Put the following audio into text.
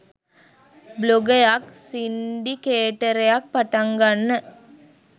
බ්ලොගයක් සින්ඩිකේටර්යක් පටන්ගන්න